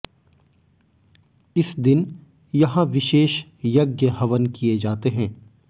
इस दिन यहां विशेष यज्ञ हवन किए जाते हैं